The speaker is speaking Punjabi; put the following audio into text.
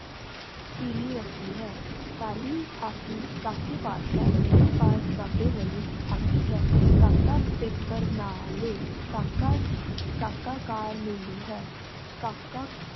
ਪੀਲੀ ਰਸ੍ਸੀ ਹੈ ਕਾਲੀ ਹਾਕੀ ਕਾਕੇ ਪਾਸ ਹੈ, ਮੇਰੇ ਪਾਸ ਵਾਲੀ ਬਾਬੇ ਹਾਲੀ ਹੈ, ਕਾਕਾ ਪੈਪਰ ਨਾਲ ਕਾਕਾ ਕਾਕਾ ਕਾਰ ਹੈ ਕਾਕਾ